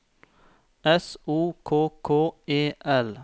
S O K K E L